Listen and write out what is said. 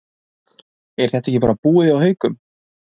Er þetta ekki bara búið til hjá Haukum?